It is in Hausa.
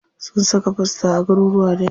Sun saka fosta a garuruka dayawa.